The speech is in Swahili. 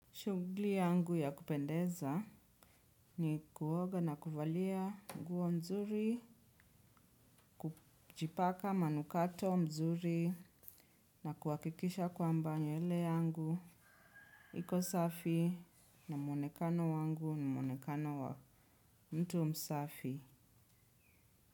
Shugli yangu ya kupendeza ni kuoga na kuvalia guo mzuri, kuchipaka manukato mzuri na kuakikisha kwamba nywele yangu. Iko safi na muonekano wangu ni muonekano wa mtu msafi.